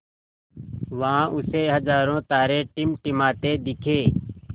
वहाँ उसे हज़ारों तारे टिमटिमाते दिखे